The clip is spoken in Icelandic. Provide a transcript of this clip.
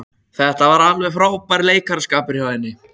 Þetta var alveg frábær leikaraskapur hjá henni.